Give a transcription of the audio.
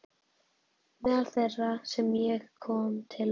Meðal þeirra sem ég kom til var